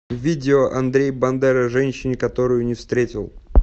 видео андрей бандера женщине которую не встретил